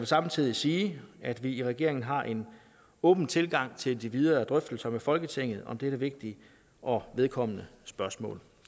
samtidig sige at vi i regeringen har en åben tilgang til de videre drøftelser med folketinget om dette vigtige og vedkommende spørgsmål